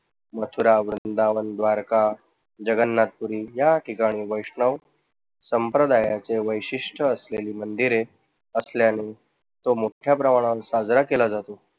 मथुरा, वृंदावन, द्वारका, जगन्नाथपुरी या ठिकाणी वैष्णव संप्रदायाचे वैशिष्ठ असलेली मंदिरे असल्याने तो मुख्य प्रमाणात साजरा केला जातो.